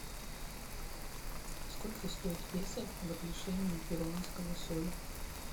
сколько стоит песо в отношении перуанского соля